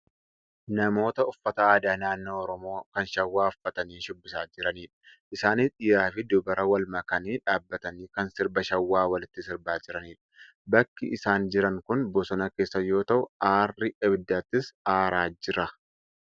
Namoota uffata aadaa naannoo oromoo kan shawaa uffatanii shubbisaa jiranidha. Isaanis dhiiraafi dubara wal makanii dhaabbatanii kan sirba shawaa walitti sirbaa jiranidha. Bakki isaan jiran kun bosona keessa yoo ta'u aarri ibiddaatis aaraa jira.